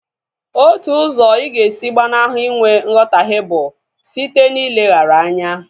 Otu usọ ịga esi gbanahụ inwe nghotahie bụ site na ileghara ya anya